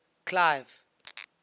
clive